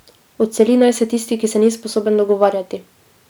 Odseli naj se tisti, ki se ni sposoben dogovarjati.